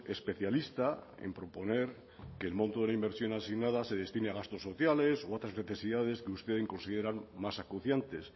especialista en proponer que el monto de la inversión asignada se destine a gastos sociales o a otras necesidades que ustedes consideran más acuciantes